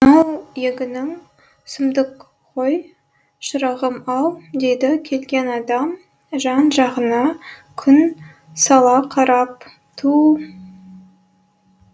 мынау егінің сұмдық қой шырағым ау дейді келген адам жан жағына күн сала қарап түу